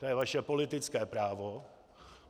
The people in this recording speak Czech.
To je vaše politické právo.